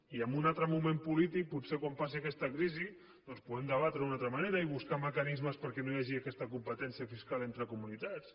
i en un altre moment polític potser quan passi aquesta crisi doncs ho podem debatre d’una altra manera i buscar mecanismes perquè no hi hagi aquesta competència fiscal entre comunitats